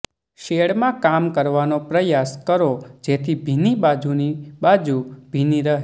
શેડમાં કામ કરવાનો પ્રયાસ કરો જેથી ભીની બાજુની બાજુ ભીની રહે